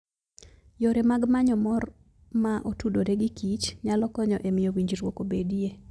Yore mag manyo mor ma otudore gikich, nyalo konyo e miyo winjruok obedie.